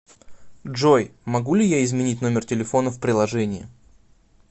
джой могу ли я изменить номер телефона в приложении